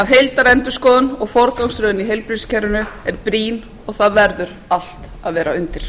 heildarendurskoðun og forgangsröðun í heilbrigðiskerfinu er brýn og það verður allt að vera undir